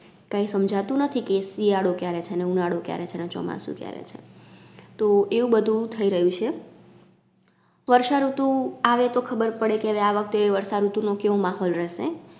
કાઈ સમજાતું નથી કે શિયાડો ક્યારે છે ને ઉનાડો ક્યારે છે ને ચોમાસું ક્યારે છે. તો એવું બધુ થઈ રહ્યું છે. વર્ષાઋતુ આવે તો ખબરપડે કે હવે આ વખતે વર્ષાઋતુ નો કેવો માહોલ રહેશે.